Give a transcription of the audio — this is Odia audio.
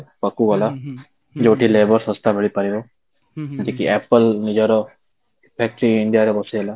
ଗଲା ଯୋଉଠି labour ଶସ୍ତା ମିଳିପାରିବ ଯେତିକି apple ନିଜର factory ଇଣ୍ଡିଆ ରେ ବସେଇଲା